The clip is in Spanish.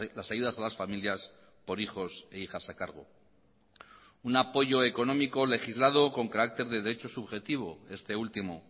las ayudas a las familias por hijos e hijas a cargo un apoyo económico legislado con carácter de derecho subjetivo este último